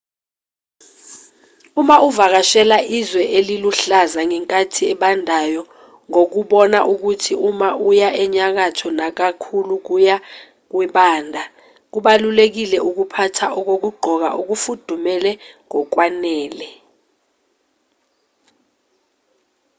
uma uvakashela izwe eliluhlaza ngenkathi ebandayo ngokubona ukuthi uma uya enyakatho nakakhulu kuya kubanda kubalulekile ukuphatha okokugqoka okufudumele ngokwanele